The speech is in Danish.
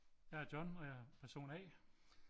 Jeg er John og jeg er person A